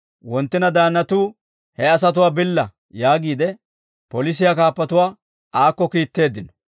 Wonttina daannatuu, «He asatuwaa billa» yaagiide, polisiyaa kaappatuwaa aakko kiitteeddino.